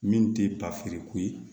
Min tɛ papiri ko ye